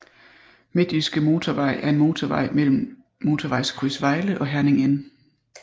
Midtjyske Motorvej er en motorvej mellem Motorvejskryds Vejle og Herning N